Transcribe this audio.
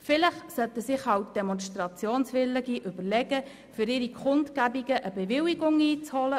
Vielleicht sollten sich Demonstrationswillige überlegen, für ihre Kundgebungen eine Bewilligung einzuholen.